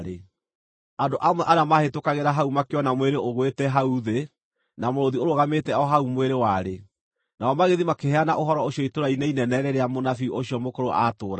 Andũ amwe arĩa maahĩtũkagĩra hau makĩona mwĩrĩ ũgũĩte hau thĩ, na mũrũũthi ũrũgamĩte o hau mwĩrĩ warĩ, nao magĩthiĩ makĩheana ũhoro ũcio itũũra-inĩ inene rĩrĩa mũnabii ũcio mũkũrũ aatũũraga.